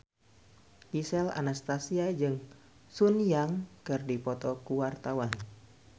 Gisel Anastasia jeung Sun Yang keur dipoto ku wartawan